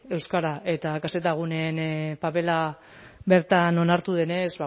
euskara eta kzguneen papera bertan onartu denez